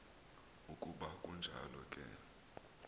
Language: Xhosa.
ukuba kunjalo ke